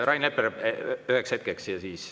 Rain Epler üheks hetkeks ja siis …